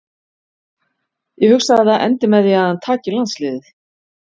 Ég hugsa að það endi með því að hann taki landsliðið.